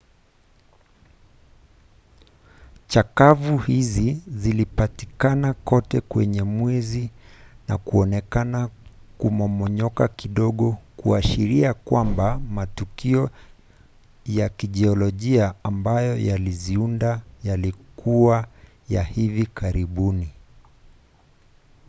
chakavu hizi zilipatikana kote kwenye mwezi na kuonekana kumomonyoka kidogo, kuashiria kwamba matukio ya kijiolojia ambayo yaliziunda yalikuwa ya hivi karibuni